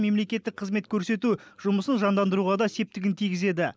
мемлекеттік қызмет көрсету жұмысын жандандыруға да септігін тигізеді